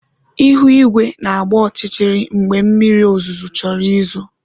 Ihu igwe na-agba ọchịchịrị mgbe mmiri ozuzo chọrọ izo